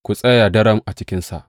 Ku tsaya daram a cikinsa.